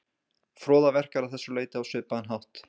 froða verkar að þessu leyti á svipaðan hátt